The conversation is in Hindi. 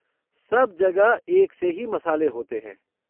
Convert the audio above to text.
सब जगह एक से ही मसाले होते हैं।